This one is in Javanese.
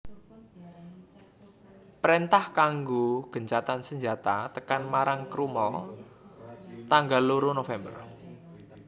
Préntah kanggo gencatan senjata tekan marang Crummel tanggal loro November